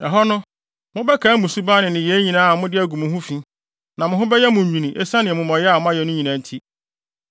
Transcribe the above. Ɛhɔ no, mobɛkae mo suban ne nneyɛe nyinaa a mode agu mo ho fi, na mo ho bɛyɛ mo nwini esiane amumɔyɛ a moayɛ no nyinaa nti.